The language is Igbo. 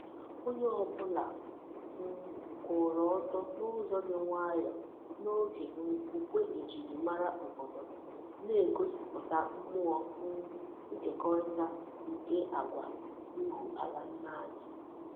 Onye obula um kwuru oto n'uzo di nwayo n'oge um ukwe ejiri mara obodo, na-egosiputa mmuo um nkekorita nke agwa ihu ala nna n'anya.